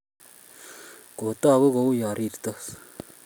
Kotagu kouyo rirtos